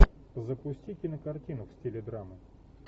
запусти кинокартину в стиле драма